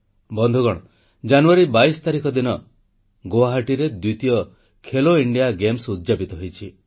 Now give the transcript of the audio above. ବନ୍ଧୁଗଣ ଜାନୁଆରୀ 22 ତାରିଖ ଦିନ ହିଁ ଗୁଆହାଟୀରେ ତୃତୀୟ ଖେଲୋ ଇଣ୍ଡିଆ ଗେମ୍ସ ଉଦ୍ୟାପିତ ହୋଇଛି